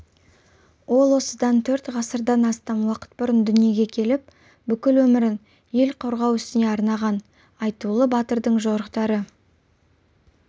ол осыдан төрт ғасырдан астам уақыт бұрын дүниеге келіп бүкіл өмірін ел қорғау ісіне арнаған айтулы батырдың жорықтары